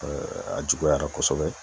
a juguyara kosɛbɛ